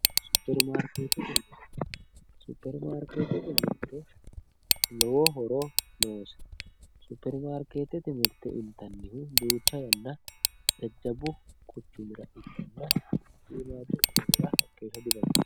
Supperimarkeettete mirte Supperimarkeettete mirte lowo horo noose Supperimarkeettete mirte intannihu jajjabbu quchumira ikkanna shiimmaaddu quchumira hakkeeshsha dintanni